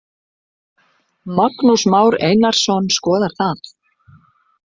Magnús Már Einarsson skoðar það.